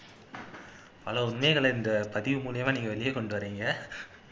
hello உண்மைகளை இந்த பதிவு மூலமா நீங்க வெளிய கொண்டுவர்றீங்க